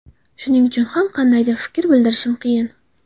Shuning uchun ham qandaydir fikr bildirishim qiyin.